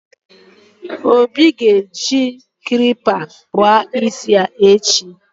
obi ga-eji klipa kpụrụ isi ya echi